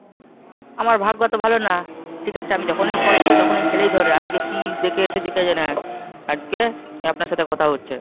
আমার ভাগ্য তো ভালো না, ঠিক আছে আমি যখনই call করি তখনই ছেলেই ধরে, আজকে কি দেখে এসেছে কে জানে, আজকে আপনার সাথে কথা হচ্ছে।